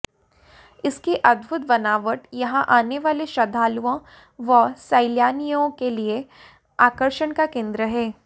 इसकी अद्भुत बनावट यहां आने वाले श्रद्धालुओं व सैलानियों के लिए आकर्षण का केन्द्र है